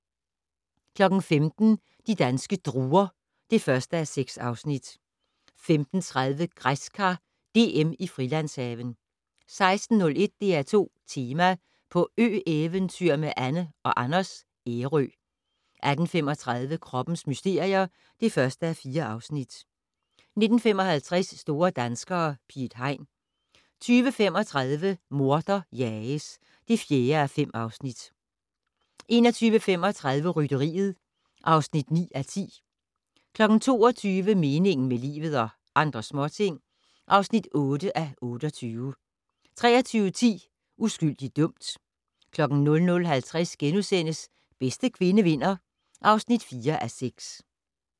15:00: De danske druer (1:6) 15:30: Græskar DM i Frilandshaven 16:01: DR2 Tema: På ø-eventyr med Anne & Anders - Ærø 18:35: Kroppens mysterier (1:4) 19:55: Store danskere - Piet Hein 20:35: Morder jages (4:5) 21:35: Rytteriet (9:10) 22:00: Meningen med livet - og andre småting (8:28) 23:10: Uskyldig dømt 00:50: Bedste kvinde vinder (4:6)*